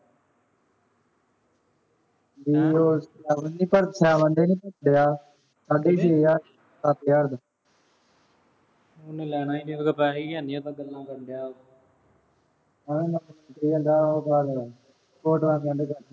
ਵੀ ਪਿਆ। ਸਾਢੇ ਛੇ ਹਜ਼ਾਰ ਚ, ਸੱਤ ਹਜ਼ਰ ਚ। ਉਹਨੇ ਲੈਣਾ ਈ ਨੀ। ਉਹਦੇ ਕੋਲ ਪੈਸੇ ਹੀ ਹੈ ਨੀ। ਓਦਾਂ ਗੱਲਾਂ ਕਰ ਡਿਆ ਓਹੋ photos send ਕਰ